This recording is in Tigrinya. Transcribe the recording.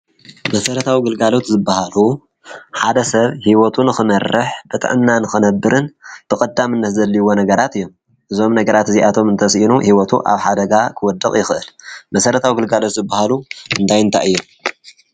መሰረታዊ ግልጋሎት ዝባሃሉ ሓደ ሰብ ሂወቱ ንኽመርሕ ብጥዕና ንኽነብርን ብቐዳምነት ዘድልይዎ ነገራት እዮም። እዞም ነገራት እዚኣቶም እንተሲእኑ ሂወቱ ኣብ ሓደጋ ክወድቕ ይኽእል። መሰረታዊ ግልጋሎት ዝባሃሉ እንታይ እንታይ እዮም?